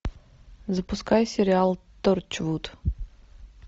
запускай сериал торчвуд